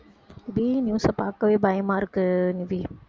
இதே news அ பார்க்கவே பயமா இருக்கு நிவி